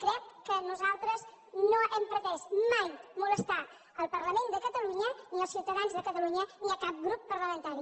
crec que nosaltres no hem pretès mai molestar el parlament de catalunya ni els ciutadans de catalunya ni cap grup parlamentari